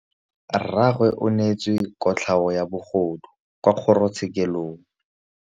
Rragwe o neetswe kotlhaô ya bogodu kwa kgoro tshêkêlông.